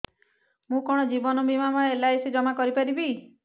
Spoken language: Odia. ମୁ କଣ ଜୀବନ ବୀମା ବା ଏଲ୍.ଆଇ.ସି ଜମା କରି ପାରିବି